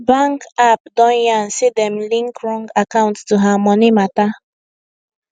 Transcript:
bank app don yan say dem link wrong account to her money matter